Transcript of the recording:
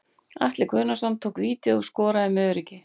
Atli Guðnason tók vítið og skoraði með öruggi.